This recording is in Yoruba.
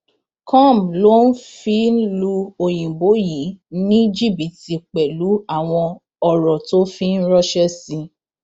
com ló fi ń lu òyìnbó yìí ní jìbìtì pẹlú àwọn ọrọ tó fi ń ránṣẹ sí i